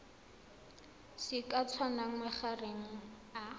se ka tsayang magareng ga